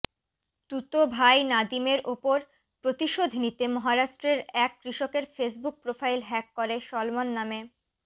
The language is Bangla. তুতো ভাই নাদিমের উপর প্রতিশোধ নিতে মহারাষ্ট্রের এক কৃষকের ফেসবুক প্রোফাইল হ্যাক করে সলমন নামে